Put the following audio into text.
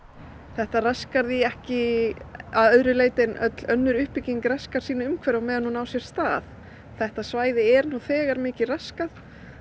þetta raskar því ekki að öðru leyti en öll önnur uppbygging raskar sínu umhverfi á meðan hún á sér stað þetta svæði er nú þegar mikið raskað